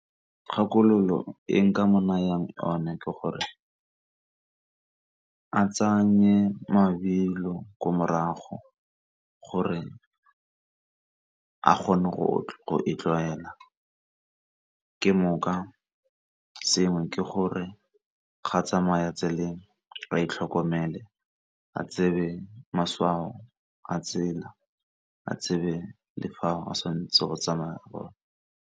Kgakololo e nka mo nayang yone ke gore a tsenye mabelo ko morago gore a kgone go e tlwaela. Ke sengwe ke gore ga tsamaya tseleng a itlhokomele a tsebe matshwao a tsela a tsebe le fao a sa ntse go tsamaya gone.